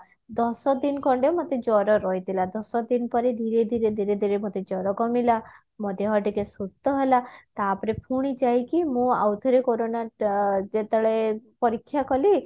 ଦଶ ଦିନ ଖଣ୍ଡେ ମତେ ଜର ରହିଥିଲା ଦଶଦିନ ପରେ ଧୀରେ ଧୀରେ ଧୀରେ ଧୀରେ ମତେ ଜର କମିଲା ମୋ ଦେହ ଟିକେ ସୁସ୍ଥ ହେଲା ତାପରେ ପୁଣି ଯାଇକି ମୁଁ ଆଉ ଥରେ କୋରୋନା ଅ ଯେତେବେଳେ ପରୀକ୍ଷା କଲି